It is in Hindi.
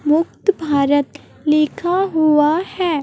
मुक्त भारत लिखा हुआ है।